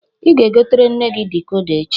Ị ga-egotere nne gi dikoda echi